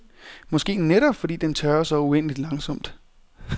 Måske netop fordi den tørrer så uendeligt langsomt.